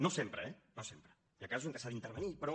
no sempre eh no sempre hi ha casos en què s’ha d’intervenir però